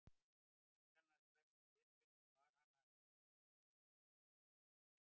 Hann kannaðist strax við svipinn og bar hana í sjónhending saman við bróður hennar.